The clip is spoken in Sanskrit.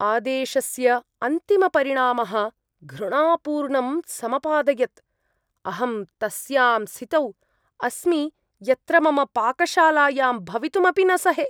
आदेशस्य अन्तिमपरिणामः घृणापूर्णं समपादयत्। अहं तस्यां स्थितौ अस्मि यत्र मम पाकशालायां भवितुं अपि न सहे।